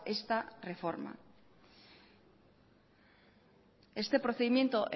esta reforma este procedimiento